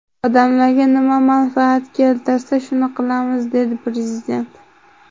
Odamlarga nima manfaat keltirsa, shuni qilamiz”, dedi Prezident.